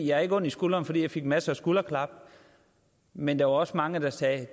jeg har ikke ondt i skulderen fordi jeg fik masser af skulderklap men der var også mange der sagde at det